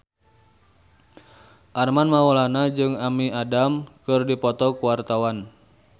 Armand Maulana jeung Amy Adams keur dipoto ku wartawan